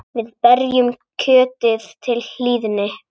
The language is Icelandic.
Við berjum kjötið til hlýðni.